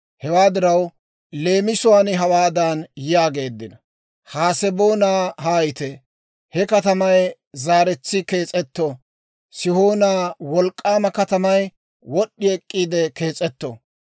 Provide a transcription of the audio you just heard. Hewaa diraw, leemisuwaan hawaadan yaageeddino; «Haseboona haayite; he katamay zaaretsi kees'etto; Sihoona wolk'k'aama katamay wod'd'i ek'k'iide kees'etto!